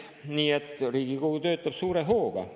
Nii et Riigikogu töötab suure hooga.